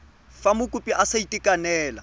fa mokopi a sa itekanela